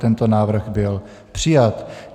Tento návrh byl přijat.